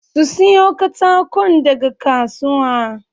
Su siyo katakon daga kasuwa